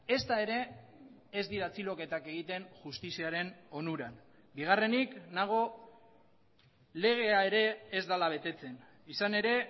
ezta ere ez dira atxiloketak egiten justiziaren onuran bigarrenik nago legea ere ez dela betetzen izan ere